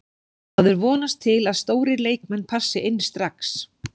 Maður vonast til að stórir leikmenn passi inn strax.